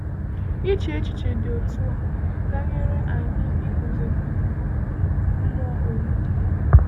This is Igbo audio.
Iche echiche dị otu a ga-enyere anyị iguzogide mmụọ ụwa.